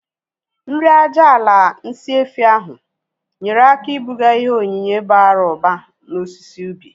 Nri aja ala nsị efi ahu nyere aka ibuga ihe onyinye bara ụba na osisi ubi